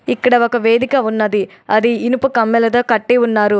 ఇక్కడ ఒక వేదిక ఉన్నది. అది ఇనుప కమ్మెలతో కట్టి ఉన్నారు.